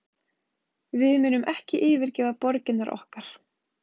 Við munum ekki yfirgefa borgirnar okkar